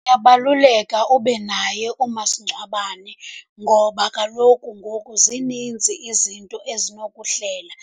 Kuyabaluleka ube naye umasingcwabane ngoba kaloku ngoku zininzi izinto ezinokuhlela.